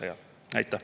Aitäh!